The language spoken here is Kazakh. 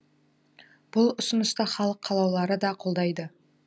бұл ұсынысты халық қалаулылары да қолдайды